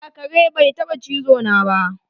A'a, kare bai taba chizo na ba.